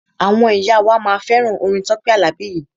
Àwọn ìyá wa máa fẹ́ràn orin Tọ́pẹ́ Àlàbí yìí.